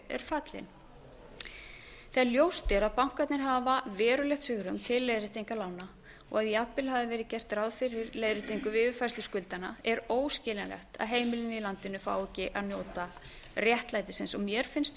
er fallinn þegar ljóst er að bankarnir hafa verulegt svigrúm til leiðréttingar lána og að jafnvel hafi verið gert ráð fyrir leiðréttingu við yfirfærslu skuldanna er óskiljanlegt að heimilin í landinu fái ekki að njóta réttlætis og mér finnst